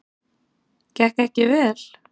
Gekk ekki vel.